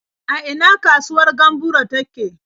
A ina kasuwar Gamburo take?